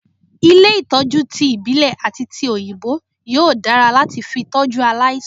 Ilé Ìtọ́jú ti ìbílè àti ti òyìnbó yóò dára láti fi tọ́jú aláìsàn.